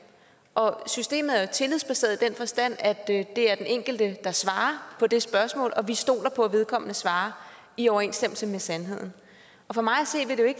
og systemet er jo tillidsbaseret i den forstand at det er den enkelte der svarer på det spørgsmål og vi stoler på at vedkommende svarer i overensstemmelse med sandheden for mig